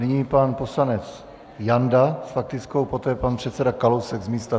Nyní pan poslanec Janda s faktickou, poté pan předseda Kalousek z místa.